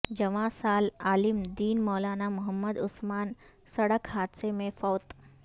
جواں سال عالم دین مولانا محمد عثمان سڑک حادثہ میں فوت